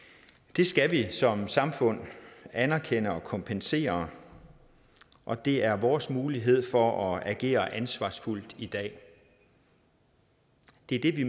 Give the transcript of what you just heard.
det skal vi som samfund anerkende og kompensere og det er vores mulighed for at agere ansvarsfuldt i dag det er det vi